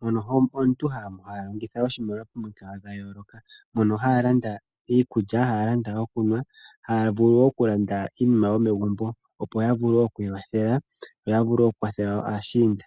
mono omuntu ha longitha oshimaliwa momikalo dha yooloka mono haya landa iikulya, haya landa okunwa nokulanda iinima yomegumbo opo ya vule oku ikwathela yo ya vule oku kwathela aashinda.